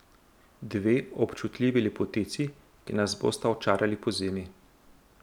Dve občutljivi lepotici, ki nas bosta očarali pozimi.